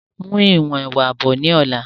Mú ìwọ̀n ẹwà bọ̀ ni ọ̀la!